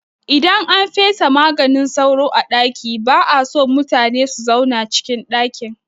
Idan an fesa maganin sauro a ɗaki ba'a so mutune su zauna cikin ɗakin